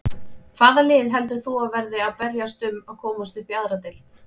Hvaða lið heldur þú að verði að berjast um að komast upp í aðra deild?